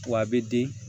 Wa a bɛ den